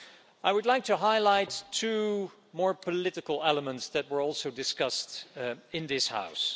I would like to highlight two more political elements that were also discussed in this House.